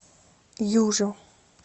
южу